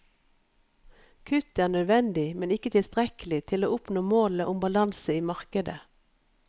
Kutt er nødvendig, men ikke tilstrekkelig til å oppnå målet om balanse i markedet.